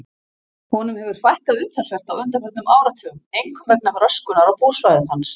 Honum hefur fækkað umtalsvert á undanförnum áratugum, einkum vegna röskunar á búsvæðum hans.